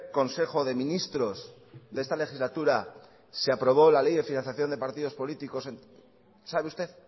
consejo de ministros de esta legislatura se aprobó la ley de financiación de partidos políticos sabe usted